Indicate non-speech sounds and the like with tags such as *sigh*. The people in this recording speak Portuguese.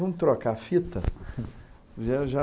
Vamos trocar a fita? *unintelligible* já...